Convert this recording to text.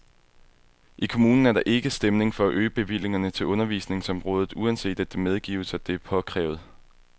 I kommunen er der ikke stemning for at øge bevillingerne til undervisningsområdet, uanset at det medgives, at det er påkrævet.